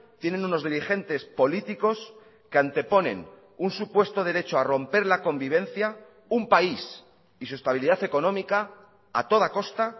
tienen unos dirigentes políticos que anteponen un supuesto derecho a romper la convivencia un país y su estabilidad económica a toda costa